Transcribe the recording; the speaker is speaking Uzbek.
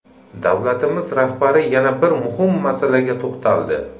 Davlatimiz rahbari yana bir muhim masalaga to‘xtaldi.